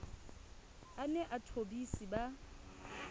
a ne a thobise ba